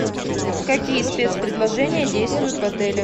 какие спецпредложения действуют в отеле